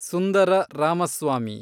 Sundara Ramaswamy